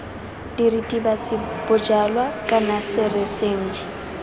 diritibatsi bojalwa kana sere sengwe